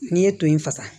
N'i ye to in fasa